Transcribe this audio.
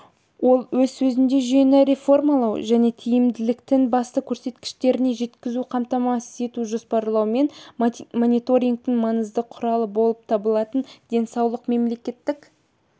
ол өз сөзінде жүйені реформалау және тиімділіктің басты көрсеткіштеріне жетуді қамтамасыз ететін жоспарлау мен мониторингтің маңызды құралы болып табылатын денсаулық мемлекеттік